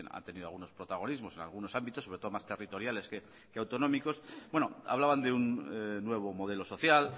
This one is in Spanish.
ha tenido algunos protagonismos en algunos ámbitos sobre todo más territoriales que autonómicos bueno hablaban de un nuevo modelo social